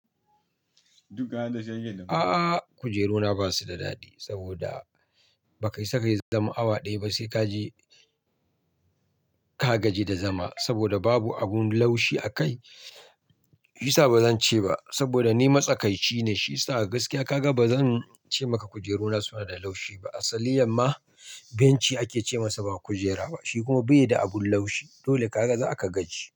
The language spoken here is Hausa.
Aaaa kujeru na ba su da daɗi saboda ba ka isa kai zaman awa ɗaya ba sai ka ji ka gaji da zama saboda babu abun laushi a kai. Shiyasa ba zan ce ba saboda ni matsakaici ne. Shi yasa gaskiya ka ga ba zan ce maka kujeru na suna da laushi ba. Asaliyan ma benchi ake ce masa ba kujera ba, shi kuma bai da abun laushi. Dole ka ga za ka gaji.